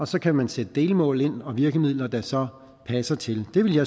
så kan man sætte delmål ind og virkemidler der så passer til jeg ville